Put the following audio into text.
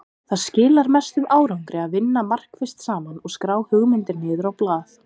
Það skilar mestum árangri að vinna markvisst saman og skrá hugmyndir niður á blað.